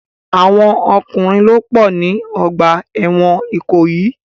Àwọn ọkùnrin ló pọ̀ ní ọgbà ẹ̀wọ̀n Ìkòyì.